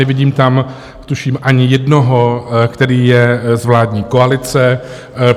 Nevidím tam, tuším, ani jednoho, který je z vládní koalice.